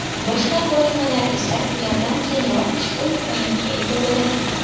Boshqa qurilmalar esa ulardan keyinroq ushbu imkoniyatga ega bo‘ladi.